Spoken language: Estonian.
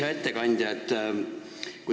Hea ettekandja!